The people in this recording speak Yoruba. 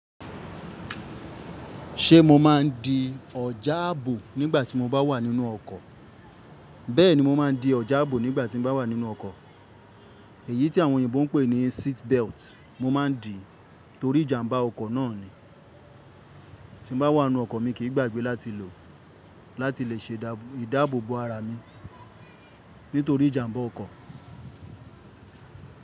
Ṣé mo má ń di ọ̀jà ààbò nígbà tí mo bá wà nínú ọkọ̀? Bẹ́ẹ̀ni, mo má ń di ọ̀jà ààbò nígbà tí mo bá wà nínú ọkọ̀. Èyí tí àwọn oyinbo ń pè ní seat belt mo má ń dì nítorí ìjàmbá ọkọ̀ náà ni. Tí mo bá wà nínú ọkọ̀ mi kì í gbàgbé láti lò láti lè ṣe ìdáàbò bo ara mi nítorí ìjàmbá ọkọ̀.